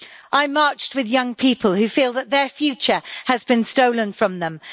I marched with young people who feel that their future has been stolen from them.